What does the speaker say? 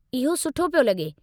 इहो सुठो पियो लॻे।